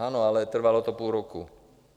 Ano, ale trvalo to půl roku.